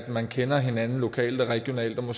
man kender hinanden lokalt og regionalt at